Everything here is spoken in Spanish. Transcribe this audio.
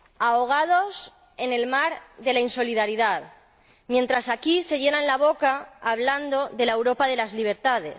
ahogados en el mar de la insolidaridad, mientras aquí se llenan la boca hablando de la Europa de las libertades.